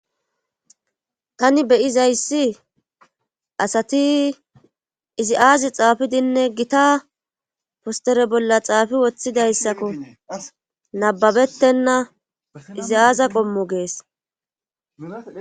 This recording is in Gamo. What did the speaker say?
Tani beyizayssi asati iziaazi xaafidinne gita postere bolla xaafi woththidayssakko nababettenna iziyaaza gommo gees.